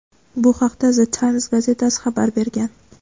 Bu haqda "The Times" gazetasi xabar bergan.